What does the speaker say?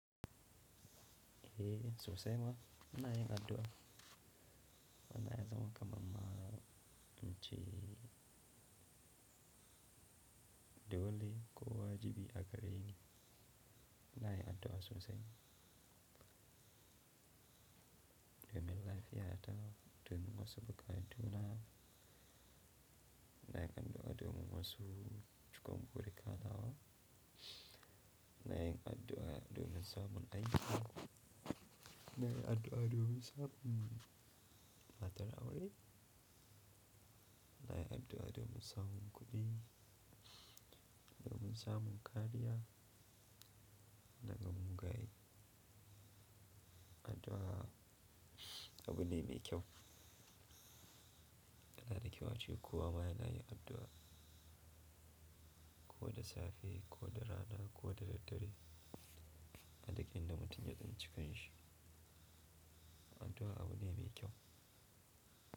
Eh, sosai ma. Na yi addu'a. Ya zama kaman in ce dole kowa ya ji a gare ni. Na yi addu'a sosai. Domin lafiya ta, domin masu buga juna, na kan do addu'a domin wasu cikon buruka nawa, ina yin addu'a domin samun aiki, ina yi addu'a domin samun matar aure na yi addu'a domin sabon kuɗi, domin samun kariya, daga gama mugaye. Addu'a abu ne mai kyau. Yana da kyau ace kowa ma yana yin addu'a. Ko da safe, ko da rana, ko da daddare. A lokacin da mutum ya tsinci kanshi. Addu'a abu ne mai kyau.